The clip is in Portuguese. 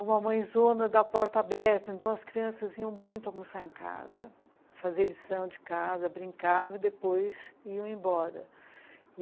Uma mãezona da porta aberta, então as crianças vinham muito almoçar em casa, fazer lição de casa, brincavam e depois iam embora.